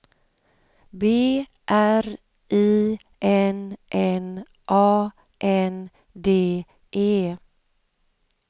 B R I N N A N D E